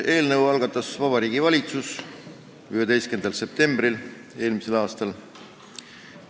Eelnõu algatas Vabariigi Valitsus 11. septembril eelmisel aastal.